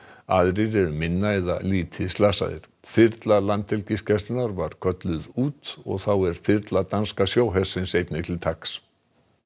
aðrir eru minna eða lítið slasaðir þyrla Landhelgisgæslunnar var kölluð út og þá er þyrla danska hersins einnig til taks